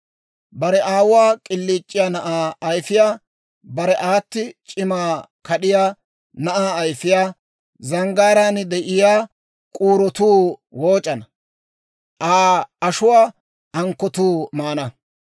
Bare aawuwaa k'iliic'iyaa na'aa ayifiyaa, bare aata c'imina kad'iyaa na'aa ayifiyaa, zanggaaraan de'iyaa k'uurotuu wooc'ana; Aa ashuwaa ankkotuu maana.